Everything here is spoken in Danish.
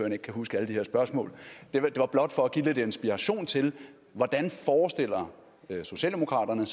ikke kan huske alle de her spørgsmål det var blot for at give lidt inspiration til hvordan socialdemokraterne